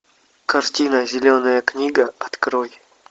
картина зеленая книга открой